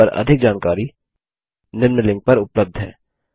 इस पर अधिक जानकारी निम्न लिंक पर उपलब्ध है